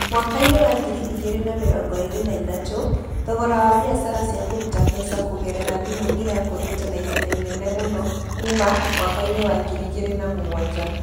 Mwaka-inĩ wa ngiri igĩrĩ na mĩrongo ĩĩrĩ na ithatũ, thogora wa biacara cia kũruta mbeca kũgerera thimũ ũrakũrĩte na ihenya inene mũno kuuma mwaka-inĩ wa ngiri igĩrĩ na mũgwanja.